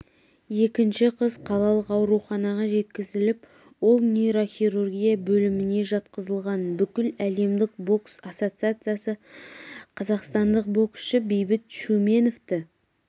екінші қыз қалалық ауруханаға жеткізіліп ол нейрохирургия бөліміне жатқызылған бүкіләлемдік бокс ассоциациясы қазақстандық боксшы бейбіт шүменовті